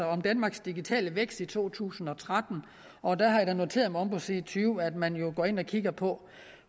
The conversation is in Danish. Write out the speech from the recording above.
om danmarks digitale vækst to tusind og tretten og der har jeg da noteret mig omme på side tyve at man jo også går ind og kigger på